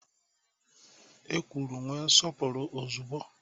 E kwuru nwe nsọpụrụ ozugbo!